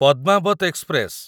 Padmaavat express